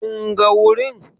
Kun ga wurin?